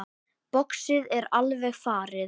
Boxið er alveg farið.